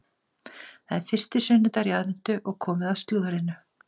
Það er fyrsti sunnudagur í aðventu og komið að slúðrinu.